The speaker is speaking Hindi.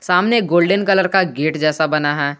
सामने एक गोल्डन कलर का गेट जैसा बना है।